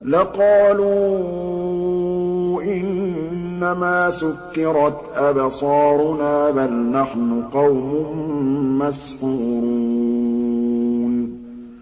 لَقَالُوا إِنَّمَا سُكِّرَتْ أَبْصَارُنَا بَلْ نَحْنُ قَوْمٌ مَّسْحُورُونَ